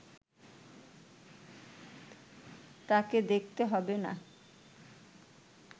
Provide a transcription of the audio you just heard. তাকে দেখতে হবে না